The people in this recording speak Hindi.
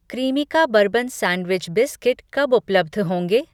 क्रीमिका बर्बन सैंडविच बिस्किट कब उपलब्ध होंगे?